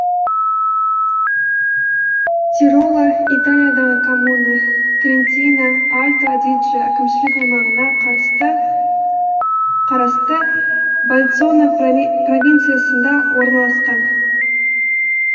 тироло италиядағы коммуна трентино альто адидже әкімшілік аймағына қарасты больцано провинциясында орналасқан